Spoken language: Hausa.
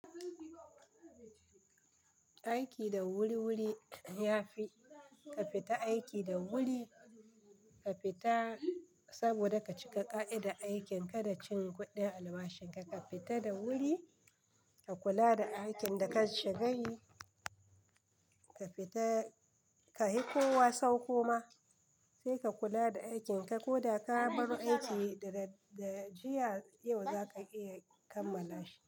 Aiki da wuri-wuri ya fi ka fita aiki da wuri ka fita saboda ka cika ƙa'ida aikin ka da cin kuɗin albashin ka, ka fita da wuri ka kula da aikin da ka shiga yi. Ka fita, ka hi kowa sau koma sai ka kula da aikin ka ko da ka bar aiki da da jiya yau za ka iya kammala shi.